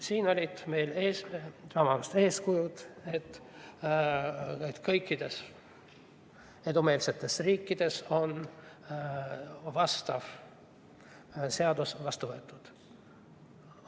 Siin olid meil ees eeskujud, et kõikides edumeelsetes riikides on vastav seadus vastu võetud.